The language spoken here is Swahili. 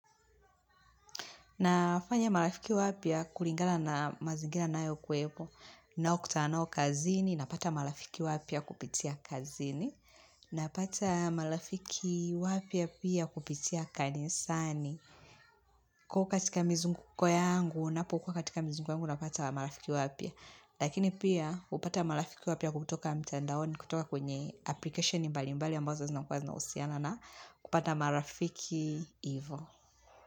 Nafanya marafiki wapya kulingana mazingira nayo kuepo nao kutana nao kazini napata marafiki wapya kupitia kazini napata marafiki wapya pia kupitia kanisani. Kua katika mizunguko yangu napo kua katika mizunguko yangu napata marafiki wapya. Lakini pia upata marafiki wapya kutoka mtendaoni kutoka kwenye application mbali mbali ambazo zina kua zinahusiana na kupata marafiki ivo.